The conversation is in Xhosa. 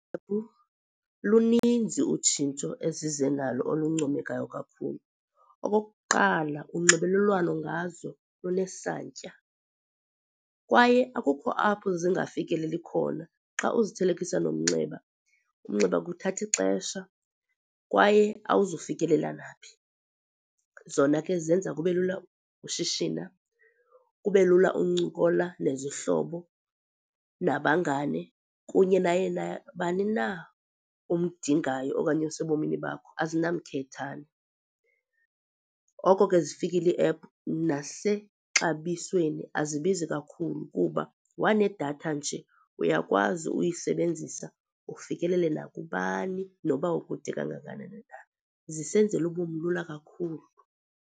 Luninzi utshintsho ezize nalo oluncomekayo kakhulu. Okokuqala, unxibelelwano ngazo lunesantya kwaye akukho apho zingafikeleli khona xa uzithelekisa nomnxeba. Umnxeba ke uthatha ixesha kwaye awuzufikelela naphi. Zona ke zenza kube lula ushishina, kube lula uncokola nezihlobo, nabangane, kunye naye nabani na omdingayo okanye osebomini bakho azinamkhethane. Oko ke zifikile iiephu nasexabisweni azibizi kakhulu, kuba wanedatha nje uyakwazi uyisebenzisa ufikelele nakubani noba ukude kangakani na. Zisenzela ubomi lula kakhulu.